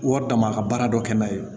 Wari d'a ma a ka baara dɔ kɛ n'a ye